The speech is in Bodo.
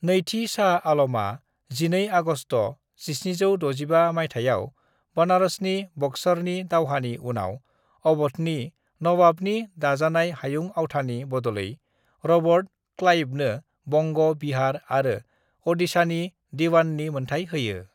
"नैथि शाह आलमआ 12 आगस्ट' 1765 माइथायाव बनारसनि बक्सरनि दावहानि उनाव अवधनि नावावनि दाजाबनाय हायुं आवथानि बद'लै रबर्ट क्लाइवनो बंग', बिहार आरो अडिशानि दीवाननि मोनथाय होयो।"